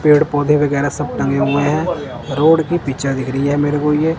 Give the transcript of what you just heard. पेड़ पौधे वगैरह सब टंगे हुए हैं रोड की पिक्चर दिख रही मेरे को ये।